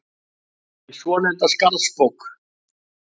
hin svonefnda Skarðsbók.